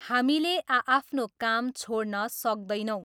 हामीले आ आफ्नो काम छोडन सक्दैनौँ।